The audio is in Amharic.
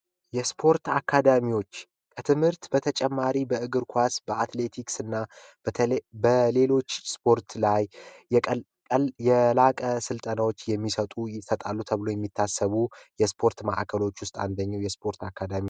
የስፖርት አካዳሚዎች የትምህርት በተጨማሪ በእግር ኳስ በአትሌቲክስ እና በተለይ በሌሎች ስፖርት ላይ የላቀ ስልጠናዎች የሚሰጡ ይሰጣሉ ተብሎ የሚታሰቡ የስፖርት ማእከሎች ውስጥ አንደኛው የስፖርት አካዳሚ